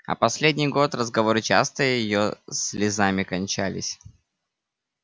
а последний год разговоры часто её слезами кончались